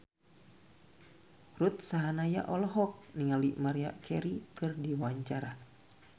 Ruth Sahanaya olohok ningali Maria Carey keur diwawancara